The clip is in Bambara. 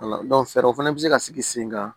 fɛɛrɛw fɛnɛ be se ka sigi sen kan